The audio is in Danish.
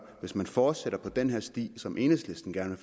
hvis man fortsætter ad den sti som enhedslisten gerne